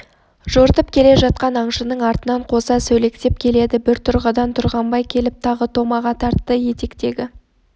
жортып келе жатқан аңшының артынан қоса сөлектеп келеді бір тұрғыдан тұрғанбай келіп тағы томаға тартты етектегі